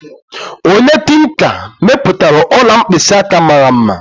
Onye tinka mepụtara ọla mkpịsị aka mara mma